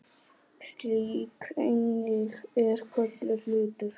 Slík eining er kölluð hlutur.